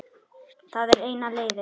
Það er eina leiðin.